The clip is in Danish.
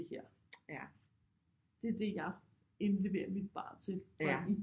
Det her det er det jeg indleverer mit barn til